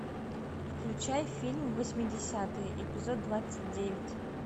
включай фильм восьмидесятые эпизод двадцать девять